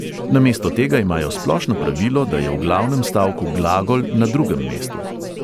Namesto tega imajo splošno pravilo, da je v glavnem stavku glagol na drugem mestu.